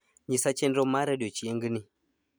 nyisa chenro mara odiechingni